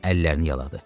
Onun əllərini yaladı.